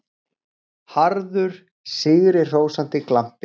Harður, sigrihrósandi glampi.